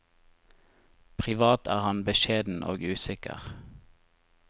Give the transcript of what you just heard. Privat er han beskjeden og usikker.